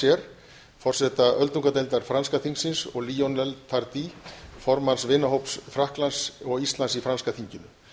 larchers forseta öldungadeildar franska þingsins og lionels tardys formanns vinahóps frakklands og íslands í franska þinginu